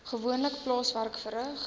gewoonlik plaaswerk verrig